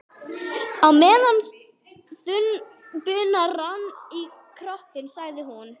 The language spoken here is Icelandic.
Og á meðan þunn bunan rann í koppinn, sagði hún